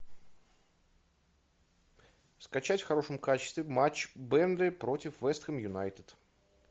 скачать в хорошем качестве матч бернли против вест хэм юнайтед